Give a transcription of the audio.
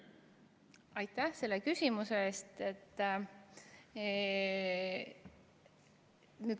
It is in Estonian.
Aitäh selle küsimuse eest!